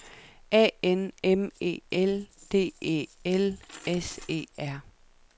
A N M E L D E L S E R